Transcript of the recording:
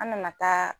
An nana taa